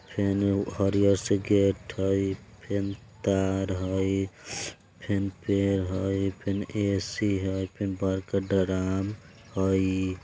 फेन एगो हरियर सा गेट हई फेन तार हई फेन पेर हाई फेन ऐ.सी. हई फेन बरका ड्रम हई।